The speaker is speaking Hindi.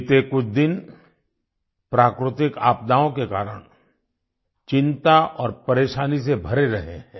बीते कुछ दिन प्राकृतिक आपदाओं के कारण चिंता और परेशानी से भरे रहे हैं